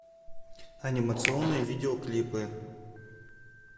анимационные видеоклипы